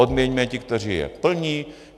Odměňme ty, kteří je plní.